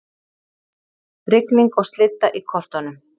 Rigning og slydda í kortunum